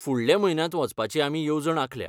फुडल्या म्हयन्यांत वचपाची आमी येवजण आंखल्या.